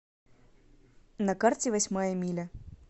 на карте восьмая миля